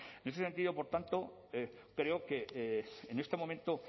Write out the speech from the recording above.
en ese sentido por tanto creo que en este momento